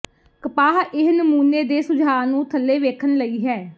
ਕਪਾਹ ਇਹ ਨਮੂਨੇ ਦੇ ਸੁਝਾਅ ਨੂੰ ਥੱਲੇ ਵੇਖਣ ਲਈ ਹੈ